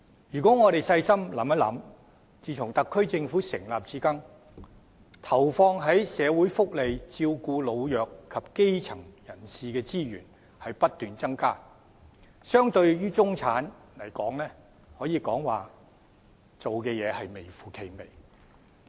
大家細心想想，自特區政府成立至今，投放在社會福利，照顧老弱及基層人士的資源不斷增加，但相對於中產，政府所做的可以說是微乎其微。